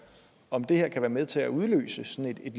om det her kan være med til at udløse sådan et